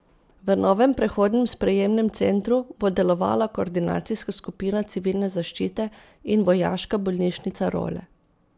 V novem prehodnem sprejemnem centru bo delovala koordinacijska skupina civilne zaščite in vojaška bolnišnica Role.